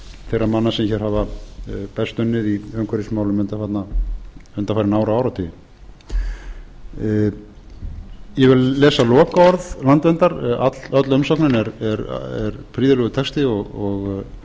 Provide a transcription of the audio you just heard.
þeirra manna sem hér hafa best unnið í umhverfismálum undanfarin ár og áratugi ég vil lesa lokaorð landverndar öll umsögnin er prýðilegur texti og